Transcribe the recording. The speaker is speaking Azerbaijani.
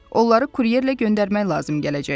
Onları kuryerlə göndərmək lazım gələcək.